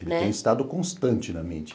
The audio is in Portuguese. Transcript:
Ele tem estado constante na mídia.